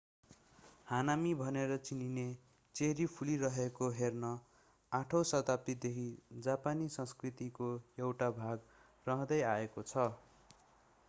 हानामी भनेर चिनिने चेरी फुलिरहेको हेर्ने 8 औँ शताब्दीदेखि जापानी संस्कृतिको एउटा भाग रहँदै आएको छ